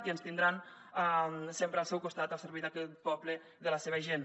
i ens tindran sempre al seu costat al servei d’aquest poble i de la seva gent